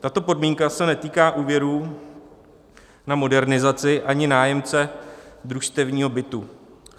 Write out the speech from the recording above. Tato podmínka se netýká úvěrů na modernizaci ani nájemce družstevního bytu.